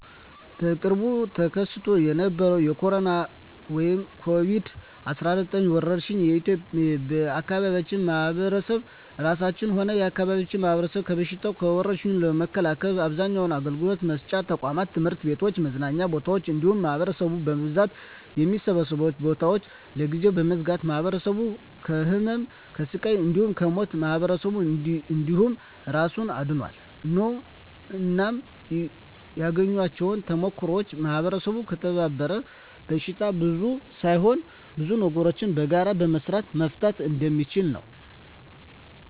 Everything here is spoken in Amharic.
በቅርቡ ተከስቶ በነበረዉ በኮሮና(ኮቪድ 19) ወረርሽ የአካባቢያችን ማህበረሰብ እራሱንም ሆነ የአካባቢውን ማህበረሰብ ከበሽታዉ (ከወርሽኙ) ለመከላከል አብዛኛዉን አገልግሎት መስጫ ተቋማት(ትምህርት ቤቶችን፣ መዝናኛ ቦታወችን እንዲሁም ማህበረሰቡ በብዛት የሚሰበሰብባቸዉን ቦታወች) ለጊዜዉ በመዝጋት ማህበረሰቡን ከህመም፣ ከስቃይ እንዲሁም ከሞት ማህበረሰብን እንዲሁም እራሱን አድኗል። እናም ያገኘኋቸዉ ተሞክሮወች ማህበረሰቡ ከተባበረ በሽታን ብቻ ሳይሆን ብዙ ነገሮችን በጋራ በመስራት መፍታት እንደሚችል ነዉ።